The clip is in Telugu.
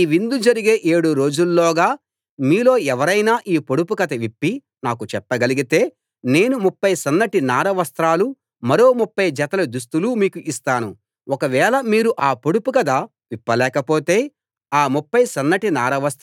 అప్పుడు సంసోను వారితో మీకిష్టమైతే మీకో పొడుపు కథ చెప్తాను ఈ విందు జరిగే ఏడు రోజుల్లోగా మీలో ఎవరైనా ఈ పొడుపు కథ విప్పి నాకు చెప్పగలిగితే నేను ముప్ఫై సన్నటి నార వస్త్రాలూ మరో ముప్ఫై జతల దుస్తులూ మీకు ఇస్తాను